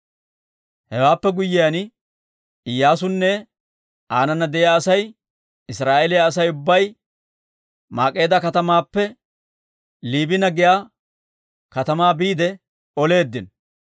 Hewaappe guyyiyaan Iyyaasunne aanana de'iyaa Asay Israa'eeliyaa Asay ubbay Maak'eeda katamaappe Liibina giyaa katamaa biide oleeddino;